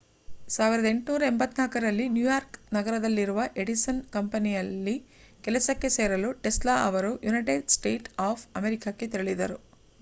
1884 ರಲ್ಲಿ ನ್ಯೂಯಾರ್ಕ್ ನಗರದಲ್ಲಿರುವ ಎಡಿಸನ್ ಕಂಪನಿಯಲ್ಲಿ ಕೆಲಸಕ್ಕೆ ಸೇರಲು ಟೆಸ್ಲಾ ಅವರು ಯುನೈಟೆಡ್ ಸ್ಟೇಟ್ಸ್ ಆಫ್ ಅಮೇರಿಕಾಕ್ಕೆ ತೆರಳಿದರು